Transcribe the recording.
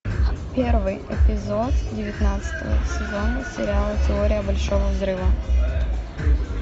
первый эпизод девятнадцатого сезона сериала теория большого взрыва